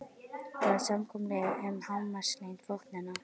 Það var samkomulag um hámarkslengd vopnanna.